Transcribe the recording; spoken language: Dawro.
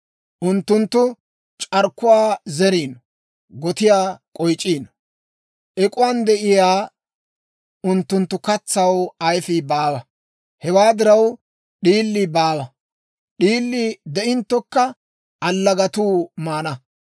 «Unttunttu c'arkkuwaa zeriino; gotiyaa k'oyc'c'iino. Ek'uwan de'iyaa unttunttu katsaw ayfii baawa; hewaa diraw, d'iilii baawa; d'iilii de'inttokka allagatuu maana.